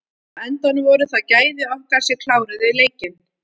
Á endanum voru það gæði okkar sem kláruðu leikinn.